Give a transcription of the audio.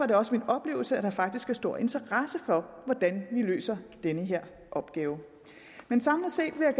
det også min oplevelse at der faktisk er stor interesse for hvordan vi løser den her opgave men samlet set vil